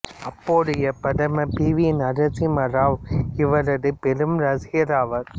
அப்போதைய பிரதமர் P V Narasimha Rao இவரது பெரும் ரசிகராவார்